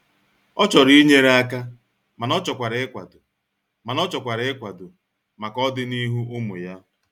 Ọ chọrọ inyere aka mana ọchọkwara ịkwado mana ọchọkwara ịkwado maka ọdị n'ihu ụmụ ya.